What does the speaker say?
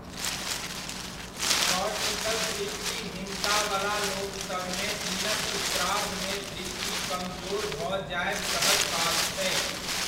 Cortical दृष्टिहीनता वला लोकसभमे दिनक उत्तरार्धमे दृष्टि कमजोर भऽ जायब सहज बात छै।